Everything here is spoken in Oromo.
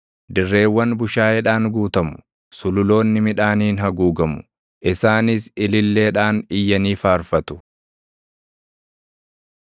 Dirreewwan bushaayeedhaan guutamu; sululoonni midhaaniin haguugamu; isaanis ililleedhaan iyyanii faarfatu.